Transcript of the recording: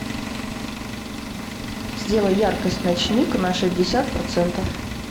сделай яркость ночник на шестьдесят процентов